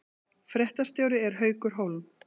Fréttastjóri er Haukur Hólm